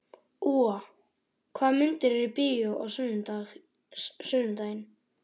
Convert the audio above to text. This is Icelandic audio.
Úa, hvaða myndir eru í bíó á sunnudaginn?